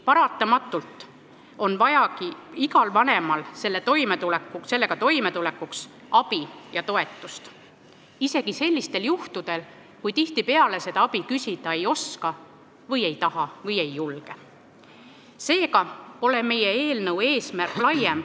Paratamatult on igal vanemal vaja sellega toimetulekuks abi ja toetust, isegi sellistel juhtudel, kui nad seda abi küsida ei oska, ei taha või ei julge, nagu tihtipeale juhtub.